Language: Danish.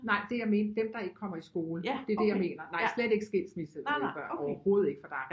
Nej det jeg mente dem der ikke kommer i skole det er det jeg mener nej slet ikke skilsmissebørn overhovedet ikke for der er